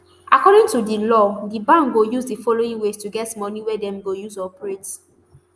according to di law di bank go use di following ways to get moni wey dem go use operate